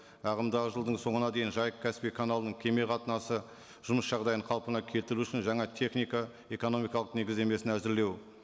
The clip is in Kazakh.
ағымдағы жылдың соңына дейін жайық каспий каналының кеме қатынасы жұмыс жағдайын қалпына келтіру үшін жаңа техника экономикалық негіздемесін әзірлеу